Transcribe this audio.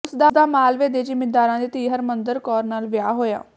ਉਸ ਦਾ ਮਾਲਵੇ ਦੇ ਜ਼ਿੰਮੀਦਾਰਾਂ ਦੀ ਧੀ ਹਰਮੰਦਰ ਕੌਰ ਨਾਲ ਵਿਆਹ ਹੋਇਆ